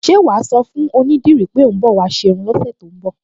Ṣé wà á sọ fún onídìrí pé ò ń bọ̀ wá ṣe irun lọ́sẹ̀ tó ń bọ̀?